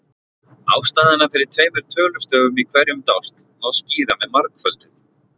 Ástæðuna fyrir tveimur tölustöfum í hverjum dálk má skýra með margföldun.